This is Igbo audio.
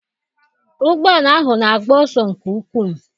Ụgbọala ahụ na-agba ọsọ nke ukwu.